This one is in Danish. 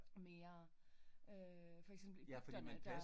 Mere øh for eksempel der